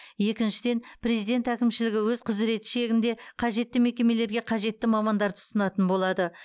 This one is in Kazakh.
екіншіден президент әкімшілігі өз құзіреті шегінде қажетті мекемелерге қажетті мамандарды ұсынатын болады